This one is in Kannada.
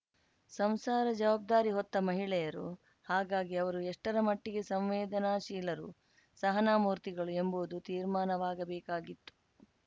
ಸಂಸಾರ ಜವಾಬ್ದಾರಿ ಹೊತ್ತ ಮಹಿಳೆಯರು ಹಾಗಾಗಿ ಅವರು ಎಷ್ಟರಮಟ್ಟಿಗೆ ಸಂವೇದನಾಶೀಲರು ಸಹನಾಮೂರ್ತಿಗಳು ಎಂಬುವುದು ತೀರ್ಮಾನವಾಗಬೇಕಿತ್ತು